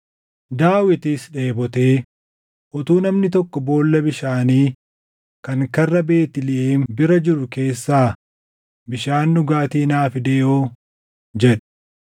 Daawitis dheebotee, “Utuu namni tokko boolla bishaanii kan karra Beetlihem bira jiru keessaa bishaan dhugaatii naa fidee hoo!” jedhe.